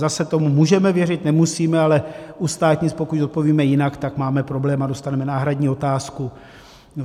Zase tomu můžeme věřit, nemusíme, ale u státnic, pokud odpovíme jinak, tam máme problém a dostaneme náhradní otázku.